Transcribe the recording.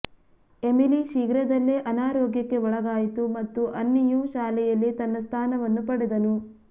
Emily ಶೀಘ್ರದಲ್ಲೇ ಅನಾರೋಗ್ಯಕ್ಕೆ ಒಳಗಾಯಿತು ಮತ್ತು ಅನ್ನಿಯು ಶಾಲೆಯಲ್ಲಿ ತನ್ನ ಸ್ಥಾನವನ್ನು ಪಡೆದನು